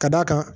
Ka d'a kan